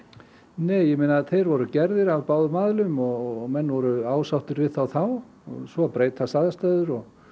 nei ég meina þeir voru gerðir af báðum aðilum og menn voru ásáttir við þá þá svo breytast aðstæður og